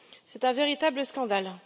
C'est un véritable scandale.